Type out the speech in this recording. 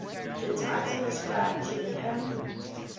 the title ascribed to the hymn